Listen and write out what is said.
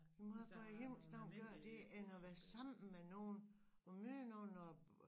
Men hvorfor i himlens navn gøre det end at være sammen med nogen og møde nogen og